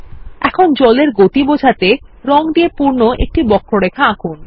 এখন জল এর গতি বোঝাতে রং দিয়ে পূর্ণ একটি বক্ররেখা আঁকুন